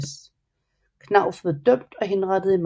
Knauf blev dømt og henrettet i maj